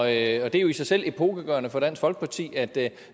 er jo i sig selv epokegørende for dansk folkeparti at der